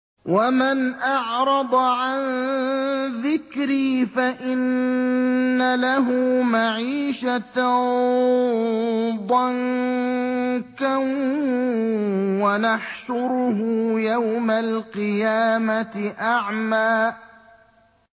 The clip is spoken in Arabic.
وَمَنْ أَعْرَضَ عَن ذِكْرِي فَإِنَّ لَهُ مَعِيشَةً ضَنكًا وَنَحْشُرُهُ يَوْمَ الْقِيَامَةِ أَعْمَىٰ